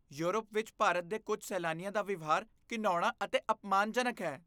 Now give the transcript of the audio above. Europe ਵਿੱਚ ਭਾਰਤ ਦੇ ਕੁੱਝ ਸੈਲਾਨੀਆਂ ਦਾ ਵਿਵਹਾਰ ਘਿਣਾਉਣਾ ਅਤੇ ਅਪਮਾਨਜਨਕ ਹੈ।